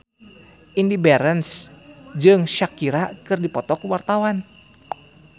Indy Barens jeung Shakira keur dipoto ku wartawan